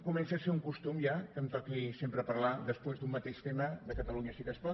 comença a ser un costum ja que em toqui sempre parlar després d’un mateix tema de catalunya sí que es pot